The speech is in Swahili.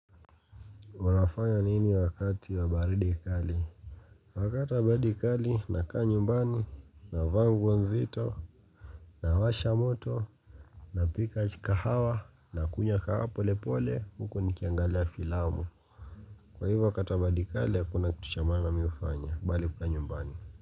Uanafanya nini wakati wa baridi kali wakati wa baridi kali nakaa nyumbani navaa nguo nzito nawasha moto napika chai kahawa nakunywa kahawa polepole huku nikiangalia filamu kwa hivyo wakati wa baridi kali hakuna kitu cha maana mimi hufanya bali kukaa nyumbani.